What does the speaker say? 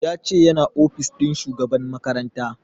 Ya ce yana ofis ɗin shugaban makaranta